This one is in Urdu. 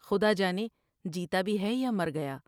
خدا جانے جیتا بھی ہے یا مر گیا ۔